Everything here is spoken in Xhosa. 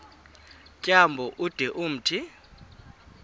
tyambo ude umthi